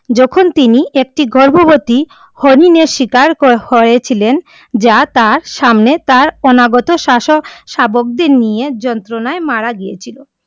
যখন তিনি একটি গর্ভবতী হরিণের শিকার করা ছিলেন, যা তার সামনে তার অনাগত শাবকদের নিয়ে যন্ত্রনায় মারা গিয়া ছিলো।